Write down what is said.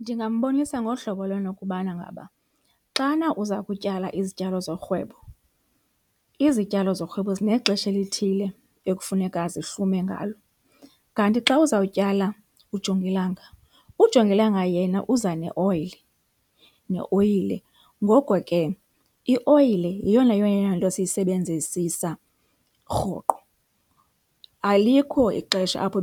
Ndingambonisa ngolu hlobo lwento okubana ngaba xana uza kutyala izityalo zorhwebo, izityalo zorhwebo zinexesha elithile ekufuneka zihlume ngalo kanti xa uzawutyala ujongilanga, ujongilanga yena uza neoyile, neoyile. Ngoko ke ioyile yeyona yona yona nto siyisebenzisisa rhoqo, alikho ixesha apho